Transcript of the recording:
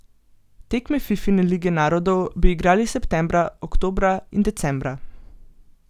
Tekme Fifine lige narodov bi igrali septembra, oktobra in decembra.